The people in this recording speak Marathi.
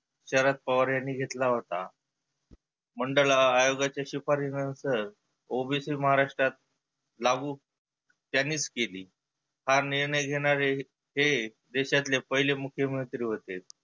शरद पवार यांनी घेतला होता. मंडला आयोगाचे शिफारीश नंतर OBC महाराष्ट्रात लागु त्यांनीच केली. हा निर्णय घेणारे हे देशातले पहिले मुख्यमंत्री होते.